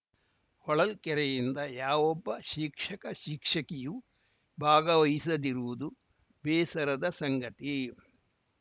ಹೊಳಲ್ಕೆರೆಯಿಂದ ಯಾವೊಬ್ಬ ಶಿಕ್ಷಕಶಿಕ್ಷಕಿಯೂ ಭಾಗವಹಿಸದಿರುವುದು ಬೇಸರದ ಸಂಗತಿ